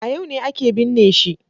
A yau ne ake binne shi.